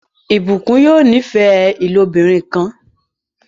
Blessing yóò n'ifẹ ilobirin kán.